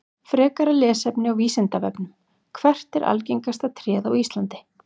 Frekara lesefni á Vísindavefnum: Hvert er algengasta tréð á Íslandi?